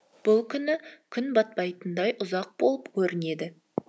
бұл күні күн батпайтындай ұзақ болып көрінеді